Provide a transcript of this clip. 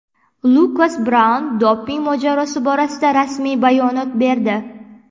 Lukas Braun doping mojarosi borasida rasmiy bayonot berdi.